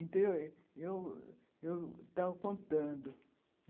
Então, eu eu eu eu estava contando.